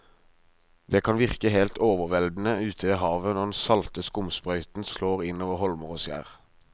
Det kan virke helt overveldende ute ved havet når den salte skumsprøyten slår innover holmer og skjær.